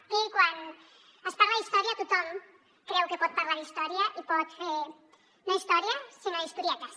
aquí quan es parla d’història tothom creu que pot parlar d’història i pot fer no història sinó historietes